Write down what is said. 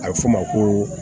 A bɛ fɔ o ma ko